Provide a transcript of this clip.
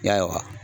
Ya